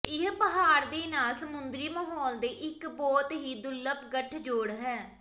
ਇਹ ਪਹਾੜ ਦੇ ਨਾਲ ਸਮੁੰਦਰੀ ਮਾਹੌਲ ਦੇ ਇੱਕ ਬਹੁਤ ਹੀ ਦੁਰਲੱਭ ਗਠਜੋੜ ਹੈ